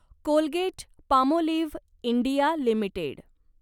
Colgate Palmolive India limited